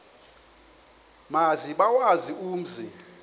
maze bawazi umzi